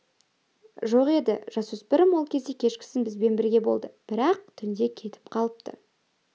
жоқ еді жасөспірім ол кеше кешкісін бізбен бірге болды бірақ түнде кетіп қалыпты